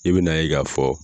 I bɛ na ye ka fɔ